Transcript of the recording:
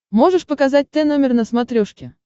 можешь показать тномер на смотрешке